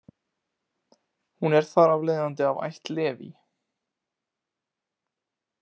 Hún er þar af leiðandi af ætt Leví.